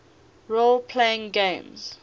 role playing games